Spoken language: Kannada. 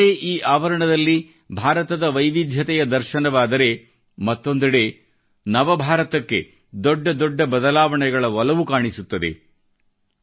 ಒಂದೆಡೆ ಈ ಆವರಣದಲ್ಲಿ ಭಾರತದ ವೈವಿಧ್ಯತೆಯ ದರ್ಶನವಾದರೆ ಮತ್ತೊಂದೆಡೆ ನವ ಭಾರತಕ್ಕೆ ದೊಡ್ಡ ದೊಡ್ಡ ಬದಲಾವಣೆಗಳ ಒಲವು ಕಾಣಿಸುತ್ತದೆ